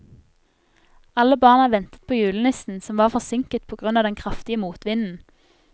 Alle barna ventet på julenissen, som var forsinket på grunn av den kraftige motvinden.